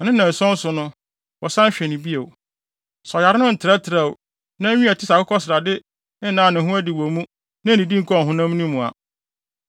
na ne nnanson so no, wɔsan hwɛ no bio. Sɛ ɔyare no ntrɛtrɛwee, na nwi a ɛte sɛ akokɔsrade nnaa ne ho adi wɔ mu na ennidi nkɔɔ ɔhonam no mu a,